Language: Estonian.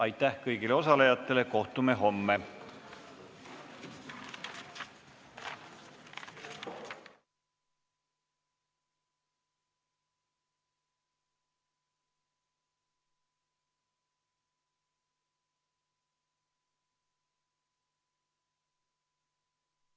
Aitäh kõigile osalejatele!